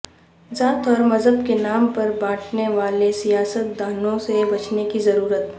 ذات اور مذہب کے نام پر باٹنےوالے سیاست دانوں سے بچنے کی ضرورت